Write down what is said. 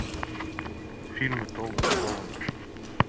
фильмы том холланд